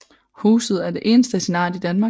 Huset er det eneste af sin art i Danmark